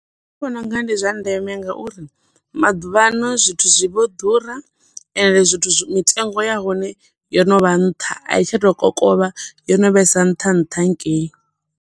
Nṋe ndi vhona unga ndi zwa ndeme nga uri maḓuvhaano, zwithu zwi vho ḓura ende zwithu mitengo ya hone yo no vha nṱha, a i tsha to kokovha, yo no vhe sa nṱha nṱha hangei.